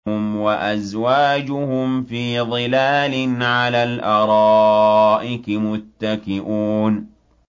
هُمْ وَأَزْوَاجُهُمْ فِي ظِلَالٍ عَلَى الْأَرَائِكِ مُتَّكِئُونَ